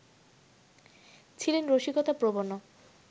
ছিলেন রসিকতাপ্রবণও